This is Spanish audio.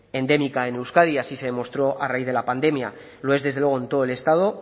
endémica en euskadi y así se demostró a raíz de la pandemia lo es desde luego en todo el estado